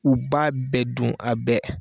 U b'a bɛɛ dun a bɛɛ!